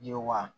Yewa